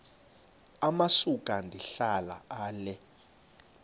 amasuka ndihlala ale